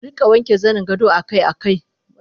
Arika wanke zaningado akai akai